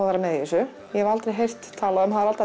að vera með í þessu ég hafði aldrei heyrt um Harald